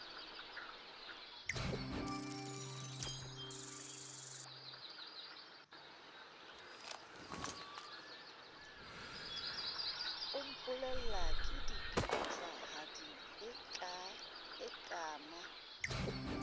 o mpolella kedibitlahadi e kaana